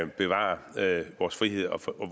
bevare vores frihed og